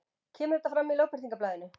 Kemur þetta fram í Lögbirtingablaðinu